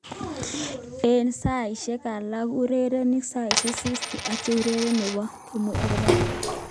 Eng saisiek alak aurereni saisek 60 atia ureriet nerube komourereni, ako mangen amune.